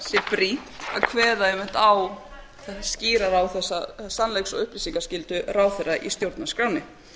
brýnt að kveða einmitt á skýrar á þessa sannleiks og upplýsingaskyldu ráðherra í stjórnarskránni